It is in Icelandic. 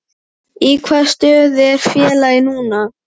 Í hvaða stöðu er félagið núna?